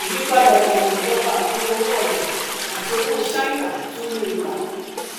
ìyípadà ìlànà ìjọba àkúnya owó ọjà àti owó ṣáínà tún ní ipa